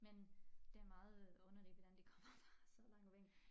Men det meget øh underligt hvordan de kommer fra så langt væk